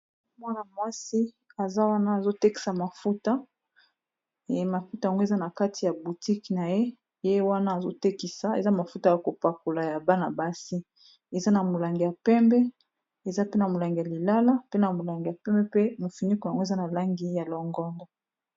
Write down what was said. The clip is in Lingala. Mwana-mwasi aza wana azo tekisa mafuta, mafuta yango eza na kati ya boutique na ye. Ye wana azo tekisa eza mafuta ya kopakola ya bana-basi, eza na molangi ya pembe. Eza pe na molangi ya lilala, pe na molangi ya pembe, pe mofiniku yango eza na langi ya longondo.